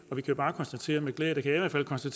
så